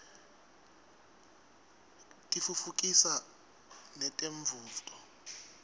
tiftutfukisa netemfundvo